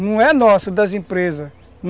Não é nosso, das empresas.